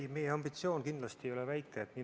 Ei, meie ambitsioon kindlasti ei ole väike.